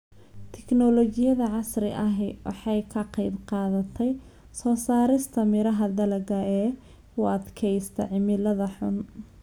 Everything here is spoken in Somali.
Tiknoolajiyada casriga ahi waxay ka qayb qaadatay soo saarista miraha dalagga ee u adkaysta cimilada xun.